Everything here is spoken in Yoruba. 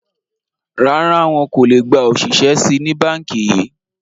Rárá, wọn kò le gba òṣìṣẹ́ síí ni Báńkì yìí